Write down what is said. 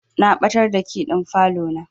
Na ɓatar da key ɗin falo na.